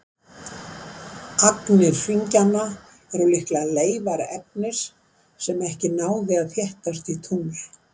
Agnir hringjanna eru líklega leifar efnis sem ekki náði að þéttast í tungl.